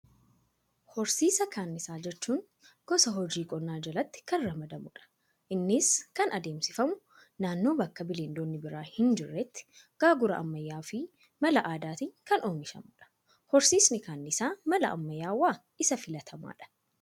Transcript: Horsiisa kanniisaa jechuun, gosa hojii qonnaa jalatti kan ramadamudha. Innis kan adeemsifamu, naannoo bakka bineeldonni biroo hin jirretti gaagura ammayyaawaa fi mala aadaatiin kan oomishamudha. Horsiisni kanniisaa mala ammayyaawaa isa filatamaadha.